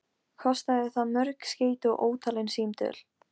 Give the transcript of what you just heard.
Kostaði það mörg skeyti og ótalin símtöl.